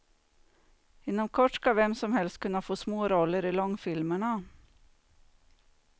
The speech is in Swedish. Inom kort ska vem som helst kunna få småroller i långfilmerna.